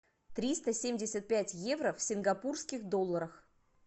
триста семьдесят пять евро в сингапурских долларах